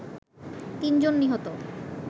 তিনজন নিহত